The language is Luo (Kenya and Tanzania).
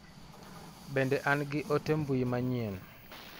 Bende an gi ote mbui manyien ?